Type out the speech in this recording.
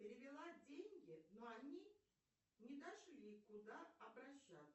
перевела деньги но они не дошли куда обращаться